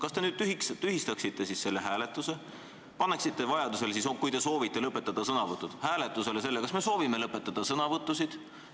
Kas te nüüd tühistaksite selle hääletuse ja paneksite siis, kui te soovite lõpetada sõnavõtud, hääletusele, kas me soovime sõnavõtud lõpetada?